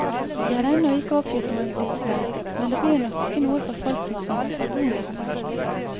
Det er ennå ikke oppgitt noen priser, men det blir nok ikke noe for folk som samler seg bonuspoeng.